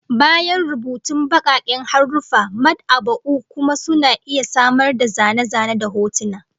Bayan rubutun bakaken haruffa, mad'aba'u kuma suna iya samar da zane-zane da hotuna